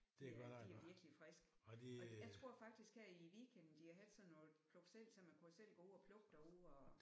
Ja de er virkelig friske. Og jeg tror faktisk her i weekenden de har haft sådan noget pluk selv så man kunne selv gå ud og plukke derude og